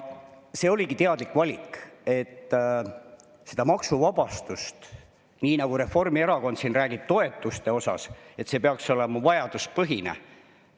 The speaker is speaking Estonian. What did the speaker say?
See oligi teadlik valik, et see maksuvabastus, nii nagu Reformierakond siin räägib toetuste puhul, peaks olema vajaduspõhine.